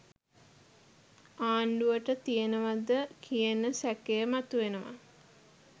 ආණ්ඩුවට තියෙනවද කියන සැකය මතුවෙනවා.